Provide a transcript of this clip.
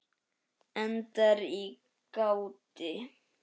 Endar í gráti.